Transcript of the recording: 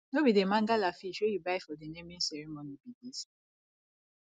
no be the mangala fish wey you buy for the naming ceremony be dis